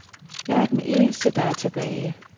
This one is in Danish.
Jeg er den eneste, der er tilbage.